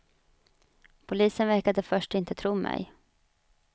Polisen verkade först inte tro mig.